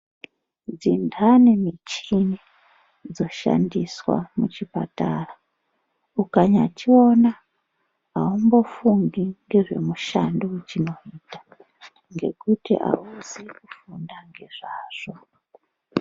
Ndani muchini dzinoshandiswa muchipataraukamuona haumbofungi ngezvemushando wachinawo ngekuti amuzi kufunda ngezvazvo.